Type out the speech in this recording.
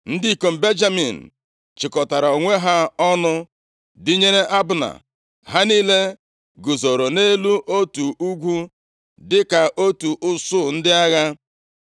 Ndị ikom Benjamin chịkọtara onwe ha ọnụ dịnyere Abna. Ha niile guzooro nʼelu otu ugwu dịka otu usuu ndị agha.